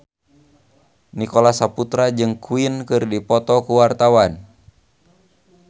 Nicholas Saputra jeung Queen keur dipoto ku wartawan